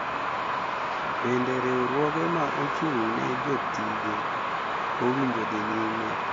Bende riwruoge ma ochung`ne jotije owinjo dhi nyime,